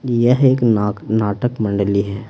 यह एक नाक नाटक मंडली है।